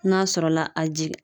N'a sɔrɔla a jigin